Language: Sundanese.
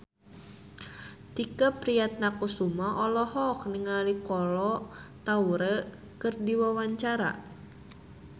Tike Priatnakusuma olohok ningali Kolo Taure keur diwawancara